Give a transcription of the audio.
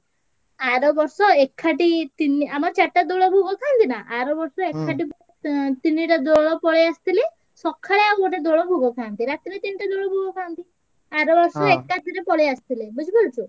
ଆର ବର୍ଷ ଏକାଠି ତିନି ଆମର ଚାରିଟା ଦୋଳ ଭୋଗ ଖାଆନ୍ତି ନାଁ ଆର ବର୍ଷ ଏକାଠି ଭୋଗ ତିନିଟା ଡୋଲ ପଳେଈ ଆସିଥିଲେ ଶଖାଳେ ଆଉ ଗୋଟେ ଦୋଳ ଭୋଗ ଖାଆନ୍ତି ରାତିରେ ତିନିଟା ଦୋଳ ଭୋଗ ଖାଆନ୍ତି ଆରବର୍ଷ ଏକାଥରେ ପଳେଈଆସିଥିଲେ ବୁଝିପାରୁଛୁ।